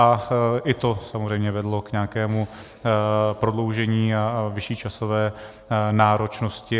A i to samozřejmě vedlo k nějakému prodloužení a vyšší časové náročnosti.